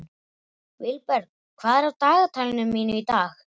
Vilberg, hvað er á dagatalinu mínu í dag?